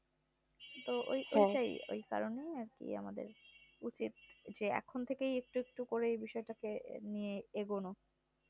তো ঐ ঐটাই ঐই কারণে আর কি আমাদের উচিত যে এখন থেকেই একটু একটু করে বিষয়টাকে নিয়ে এগোনো